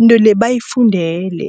into le bayifundele.